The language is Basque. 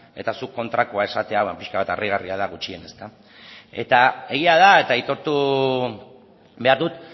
eta zuk kontrakoa esatea pixka bat harrigarria da gutxienez egia da eta aitortu behar dut